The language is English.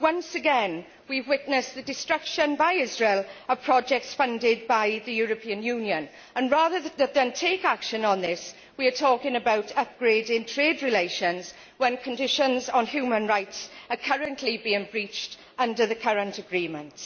Once again, we have witnessed the destruction by Israel of projects funded by the European Union and, rather than take action on this, we are talking about upgrading trade relations when conditions on human rights are currently being breached under the current agreements.